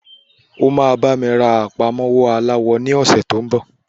O máa bá mi rán àpamọ́wọ́ aláwọ ní ọ̀sẹ́ tó ń bọ̀.